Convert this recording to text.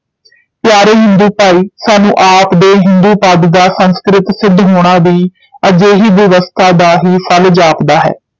ਪਿਆਰੇ ਹਿੰਦੂ ਭਾਈ ਸਾਨੂੰ ਆਪ ਦੇ ਹਿੰਦੂ ਪਦ ਦਾ ਸੰਸਕ੍ਰਿਤ ਸਿੱਧ ਹੋਣਾ ਵੀ ਅਜਿਹੀ ਬਿਵਸਥਾ ਦਾ ਹੀ ਫਲ ਜਾਪਦਾ ਹੈ।